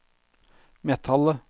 metallet